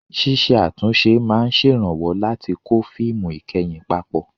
Ṣíṣe àtúnṣe máa ń ṣèrànwọ́ láti kó fíìmù ìkẹyìn papọ̀.